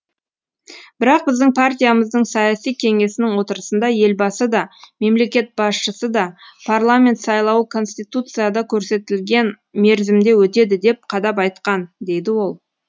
бірақ біздің партиямыздың саяси кеңесінің отырысында елбасы да мемлекет басшысы да парламент сайлауы конституцияда көрсетілген мерзімде өтеді деп қадап айтқан дейді ол